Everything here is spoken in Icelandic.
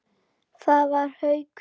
Það var Haukur.